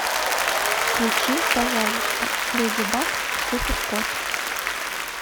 включи пожалуйста леди баг и супер кот